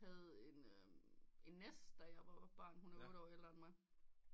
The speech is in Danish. Havde en nest da jeg var barn hun er otte år ældre end mig